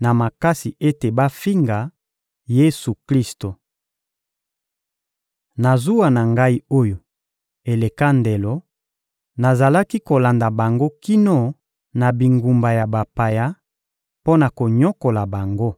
na makasi ete bafinga Yesu-Klisto. Na zuwa na ngai oyo eleka ndelo, nazalaki kolanda bango kino na bingumba ya bapaya mpo na konyokola bango.